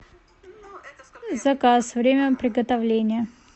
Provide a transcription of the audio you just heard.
заказ время приготовления